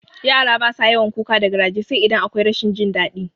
Yara basa yawan kuka da garaje sai idan akwai rashin jin daɗi